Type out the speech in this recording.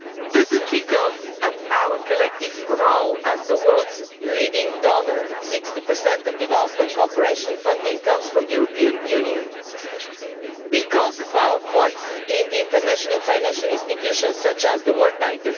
This is because of our collective role as the world's leading donor 60 of development cooperation funding comes from the European Union and because of our voice in international financial institutions such as the World Bank.